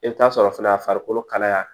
I bɛ t'a sɔrɔ fana a farikolo kalaya